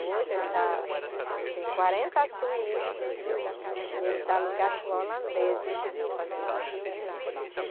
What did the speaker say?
Hoje ele está, tem quarenta suítes e ele está alugado por holandeses que estão fazendo um filme lá.